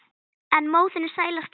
en móðirin sælasti svanni heims